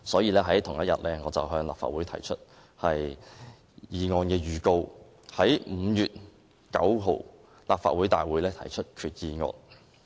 在同一天，我向立法會提出議案預告，以在5月9日的立法會大會提出擬議決議案。